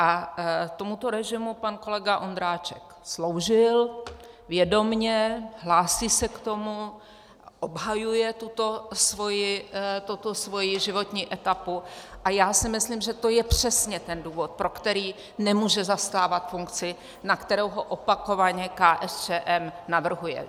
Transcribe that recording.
A tomuto režimu pan kolega Ondráček sloužil, vědomě, hlásí se k tomu, obhajuje tuto svoji životní etapu a já si myslím, že to je přesně ten důvod, pro který nemůže zastávat funkci, na kterou ho opakovaně KSČM navrhuje.